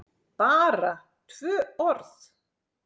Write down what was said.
BARA tvö orð?